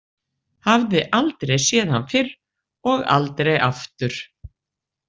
Hafði aldrei séð hann fyrr og aldrei aftur.